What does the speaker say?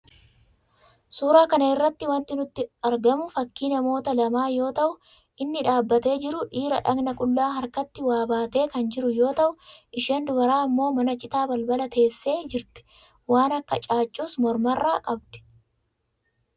Suuraa kana irraa wanti nutti argamu fakii namoota lamaa yoo ta'u, inni dhaabbatee jiru dhiira dhaqna qullaa harkatti waa baatee kan jiru yoo ta'u, isheen dubaraa ammoo mana citaa balbala teessee jirti, waan akka caaccuus mormarraa qabdu.